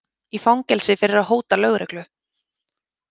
Í fangelsi fyrir að hóta lögreglu